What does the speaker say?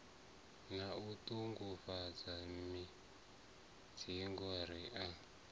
na u ṱuṱuwedzwa mimiziamu i